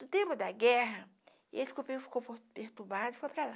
No tempo da guerra, ele ficou pertu ficou perturbado e foi para lá.